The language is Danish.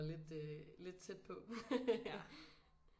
Lidt øh lidt tæt på